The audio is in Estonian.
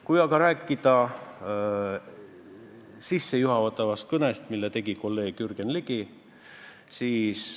Kui aga rääkida sissejuhatavast kõnest, mille tegi kolleeg Jürgen Ligi, siis ...